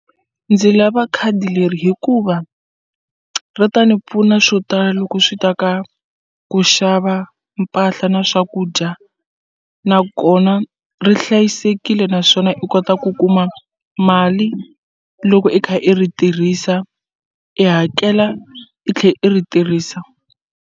Ndzi lava khadi leri hikuva ri ta ni pfuna swo tala loko swi ta ka ku xava mpahla na swakudya na kona ri hlayisekile naswona i kota ku kuma mali loko i kha i ri tirhisa i hakela i tlhe i ri tirhisa.